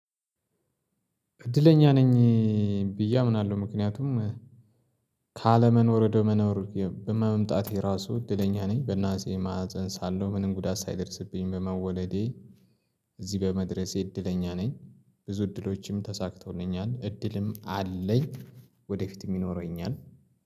እድለኛ ነኝ ብዬ አምናለሁ ምክንያቱም። ካለመኖር ወደ መኖር በመምጣቴ ራሱ እድለኛ ነኝ በእናቴ ማህፀን ሳለሁ ምንም ጉዳት ሳይደርስብኝ በመወለዴ። እዚህ በመድረሴ እድለኛ ነኝ። ብዙ እድሎችም ተሳክቶልኛል እድልም አለኝ። ወደፊት የሚኖረኝ አለ።